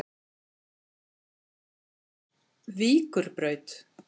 Víkurbraut